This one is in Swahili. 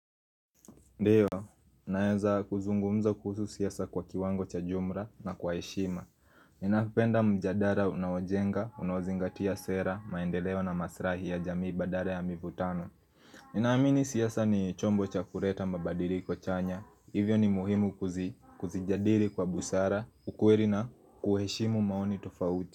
Ndiyo, naeza kuzungumza kuhusu siasa kwa kiwango cha jumra na kwa heshima Ninapenda mjadara unaojenga, unaozingatia sera, maendeleo na masrahi ya jamii badara ya mivutano Ninaamini siasa ni chombo cha kureta mababadiliko chanya. Hivyo ni muhimu kuzi kuzijadili kwa busara, ukweri na kuheshimu maoni tofauti.